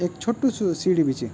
ऐक छुट्टू सू सीढी बि च।